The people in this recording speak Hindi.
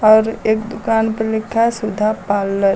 और एक दुकान पे लिखा सुधा पार्लर ।